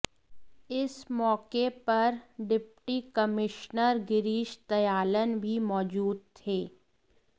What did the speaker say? इस मौके पर डिप्टी कमिश्नर गिरीश दयालन भी मौजूद थे